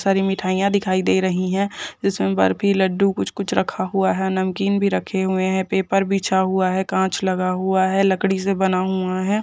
बहुत सारी मिठाईयां दिखाई दे रही हैं जिसमे बर्फी लड्डू कुछ कुछ रखे हुए हैं नमकीन भी रखा हुआ है पेपर बिछा हुआ है कांच लगा हुआ है लकड़ी से बना हुआ है।